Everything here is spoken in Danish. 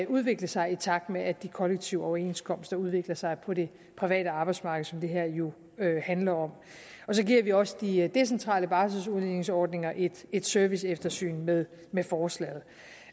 udvikle sig i takt med at de kollektive overenskomster udvikler sig på det private arbejdsmarked som det her jo handler om så giver vi også de decentrale barseludligningsordninger et et serviceeftersyn med med forslaget